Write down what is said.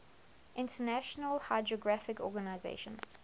international hydrographic organization